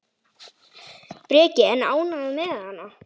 Breki: En ánægð með hana?